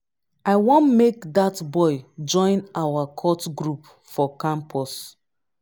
i wan make dat boy join our cult group for campus